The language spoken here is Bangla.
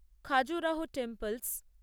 খাজুরাহো টেম্প্লেস